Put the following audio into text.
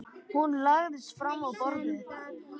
Hún lagðist fram á borðið.